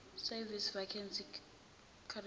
service vacancy circular